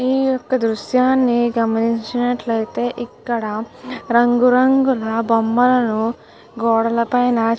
ఈ యొక్క దృశ్యాన్ని గమనించినట్లయితే ఇక్కడ రంగు రంగుల బొమ్మలను గోడల పైన --